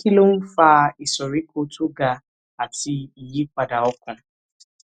kí ló ń fa ìsoríkó tó ga àti ìyípadà ọkàn